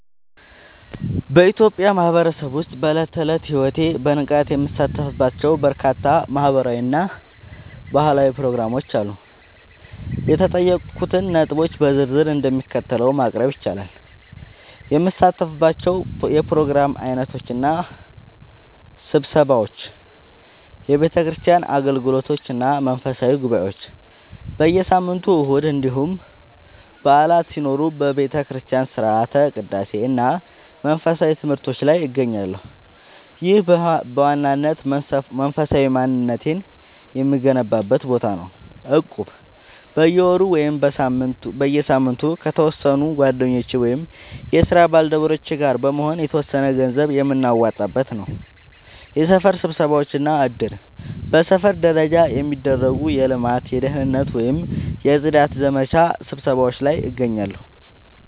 በኢትዮጵያ ማህበረሰብ ውስጥ በዕለት ተዕለት ሕይወቴ በንቃት የምሳተፍባቸው በርካታ ማህበራዊ እና ባህላዊ ፕሮግራሞች አሉ። የተጠየቁትን ነጥቦች በዝርዝር እንደሚከተለው ማቅረብ ይቻላል፦ የምሳተፍባቸው የፕሮግራም ዓይነቶች እና ስብሰባዎች፦ የቤተክርስቲያን አገልግሎቶች እና መንፈሳዊ ጉባኤዎች፦ በየሳምንቱ እሁድ እንዲሁም በዓላት ሲኖሩ በቤተክርስቲያን ሥርዓተ ቅዳሴ እና መንፈሳዊ ትምህርቶች ላይ እገኛለሁ። ይህ በዋናነት መንፈሳዊ ማንነቴን የምገነባበት ቦታ ነው። እቁብ፦ በየወሩ ወይም በየሳምንቱ ከተወሰኑ ጓደኞቼ ወይም የስራ ባልደረቦቼ ጋር በመሆን የተወሰነ ገንዘብ የምናዋጣበት። የሰፈር ስብሰባዎች እና እድር፦ በሰፈር ደረጃ የሚደረጉ የልማት፣ የደህንነት ወይም የጽዳት ዘመቻ ስብሰባዎች ላይ እገኛለሁ።